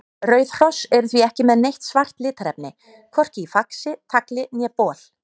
Rauð hross eru því ekki með neitt svart litarefni, hvorki í faxi, tagli né bol.